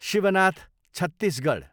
Shivnath Chhattisgarh